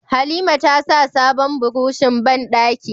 Halima tasa sabon burushin bandaki